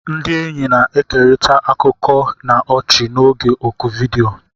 Ndị enyi na-ekerịta akụkọ na ọchị n'oge oku vidiyo.